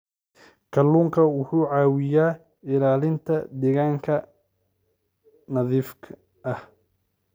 Kalluunku wuxuu caawiyaa ilaalinta deegaanka nadiifka ah.